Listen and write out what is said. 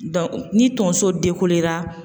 ni tonso